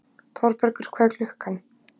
Þorbergur, hvað er klukkan?